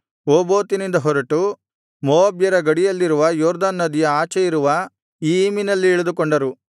ಓಬೋತಿನಿಂದ ಹೊರಟು ಮೋವಾಬ್ಯರ ಗಡಿಯಲ್ಲಿರುವ ಯೊರ್ದನ್ ನದಿಯ ಆಚೆಯಿರುವ ಇಯ್ಯೀಮಿನಲ್ಲಿ ಇಳಿದುಕೊಂಡರು